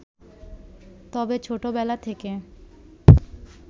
তবে ছোটবেলা থেকে